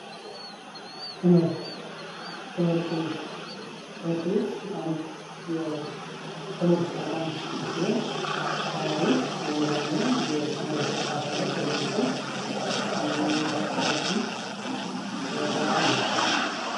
ትምህርት ትምህርት ቤት ትምህርት ቤት አንድ የትምህርት ተቋም ሲሆን ተማሪዎች መምህራንና የትምህርት አካላት ተገኝተው የሚያስተዳድሩት ተቋም ነው።